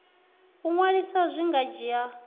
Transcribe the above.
u ṅwalisa zwi nga dzhia